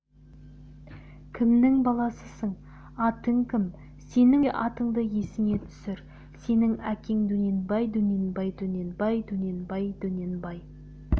кімнің баласысың атың кім сенің ой атыңды есіңе түсір сенің әкең дөненбай дөненбай дөненбай дөненбай дөненбай